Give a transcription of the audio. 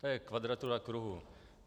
To je kvadratura kruhu.